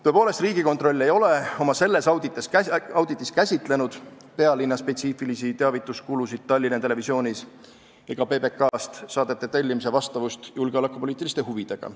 " Tõepoolest, Riigikontroll ei ole selles auditis käsitlenud pealinna spetsiifilisi kulusid seoses teavitusega Tallinna Televisioonis ega PBK-st saadete tellimise vastavust julgeolekupoliitilistele huvidele.